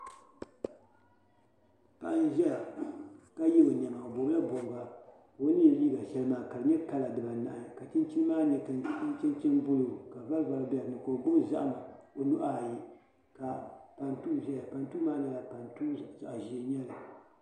Paɣi n ʒɛya ka ye ɔ nema. ɔ bɔbla bɔbiga , ka ɔ n ye liiga shɛli maa kadi nyɛ kala diba anahi, ka chinchini maa nyɛ kentɛ chinchini blue. ka vari vari be dini ka ɔ gbubi zahim ɔ nuhi ayi. ka pantuu zaya pantuu maa kala zaɣi ʒɛɛ n nyɛli